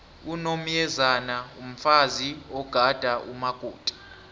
unomyezane mfazi ogada umakoti